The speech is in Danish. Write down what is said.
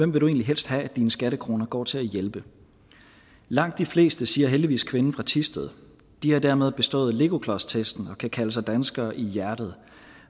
du egentlig helst have at dine skattekroner går til at hjælpe langt de fleste siger heldigvis kvinden fra thisted de har dermed bestået legoklodstesten og kan kalde sig danskere i hjertet